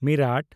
ᱢᱤᱨᱟᱴ